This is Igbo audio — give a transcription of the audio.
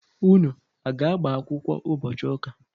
Unu aga-agbakwụkwọ ụbọchi ụka?